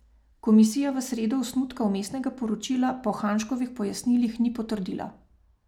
Komisija v sredo osnutka vmesnega poročila po Hanžkovih pojasnilih ni potrdila.